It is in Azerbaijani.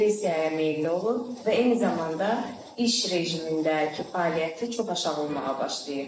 Depressiyaya meyilli olur və eyni zamanda iş rejimindəki fəaliyyəti çox aşağı olmağa başlayır.